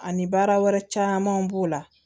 Ani baara wɛrɛ camanw b'o la